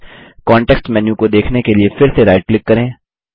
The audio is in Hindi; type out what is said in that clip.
कांटेक्स्ट मेन्यू को देखने के लिए फिर से राइट क्लिक करें